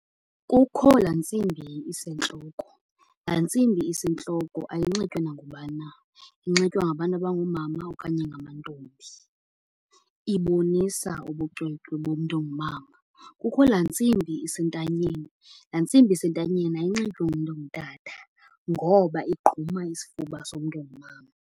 Kukho laa ntsimbi isentloko. Laa ntsimbi isentloko ayinxitywa nangubani na, inxitywa ngabantu abangoomama okanye ngamantombi. Ibonisa ubucwecwe bomntu ongumama. Kukho laa ntsimbi isentanyeni, laa ntsimbi isentanyeni ayinxitywa ngumntu ongutata ngoba igquma isifuba somntu ongumama.